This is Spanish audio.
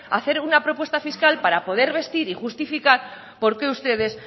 hacer una propuesta fiscal para poder vestir y justificar por qué ustedes